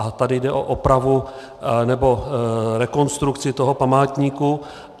A tady jde o opravu nebo rekonstrukci toho památníku.